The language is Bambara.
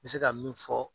N bɛ se ka min fɔ